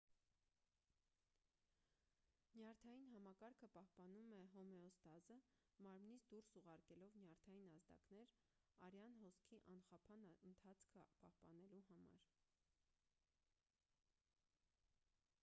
նյարդային համակարգը պահպանում է հոմեոստազը մարմնից դուրս ուղարկելով նյարդային ազդակներ արյան հոսքի անխափան ընթացքը պահպանելու համար